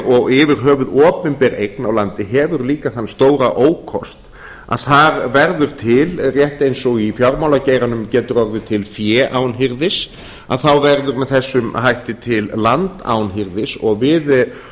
og yfir höfuð opinber eign á landi hefur líka þann stóra ókost að þar verður til rétt eins og í fjármálageiranum getur orðið til fé án hirðis að þá verður með þessum hætti til land án hirðis við